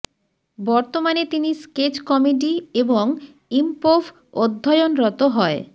বর্তমানে তিনি sketch comedy এবং ইম্পোভ অধ্যয়নরত হয়